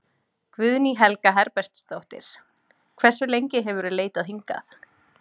Guðný Helga Herbertsdóttir: Hversu lengi hefurðu leitað hingað?